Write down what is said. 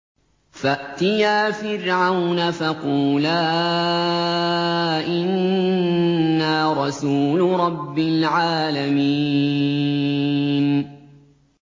فَأْتِيَا فِرْعَوْنَ فَقُولَا إِنَّا رَسُولُ رَبِّ الْعَالَمِينَ